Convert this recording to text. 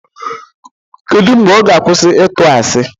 Kedụ mgbe ọ ga-akwụsị ịtụ asi?